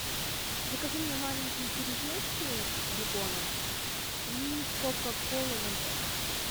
закажи мне маленькие кириешки с беконом и кока колу ноль пять